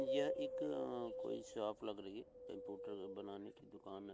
यह एक अं कोई शाप लग रही है। कंप्यूटर बनाने की दुकान ए ।